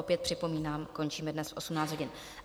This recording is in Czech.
Opět připomínám, končíme dnes v 18 hodin.